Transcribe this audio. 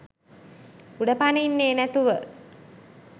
උඩ පනින්නේ නැතිව